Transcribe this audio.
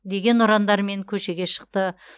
деген ұрандармен көшеге шықты